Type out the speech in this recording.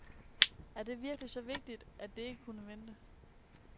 Er det virkelig så vigtigt, at det ikke kunne vente.